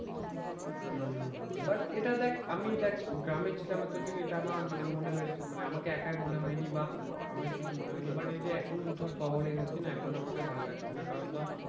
হম হম হম but এটা দেখ আমি দেখ গ্রামে ছিলাম এতদিন এটা আমার মানে মনে হয়েছে মানে আমাকে একা মনে হয়নি বা আমাকে কিছু মনে হয়নি। but এই যে এখন শহরে এসেছি না এখন আমাকে ভালো লাগছে না কারণ ধর